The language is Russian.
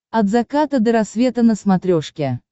от заката до рассвета на смотрешке